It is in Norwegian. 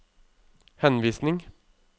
henvisning